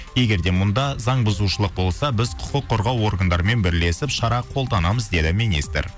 егер де мұнда заң бұзушылық болса біз құқық қорғау органдарымен бірлесіп шара қолданамыз деді министр